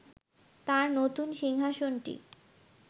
তাঁর নতুন সিংহাসনটি